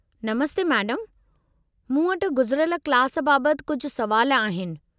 नमस्ते मेडमु, मूं वटि गुज़िरियल क्लास बाबत कुझु सवाल आहिनि।